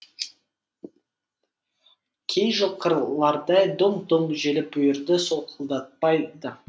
кей жылқылардай дүңк дүңк желіп бүйірді солқылдатпайды